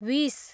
विष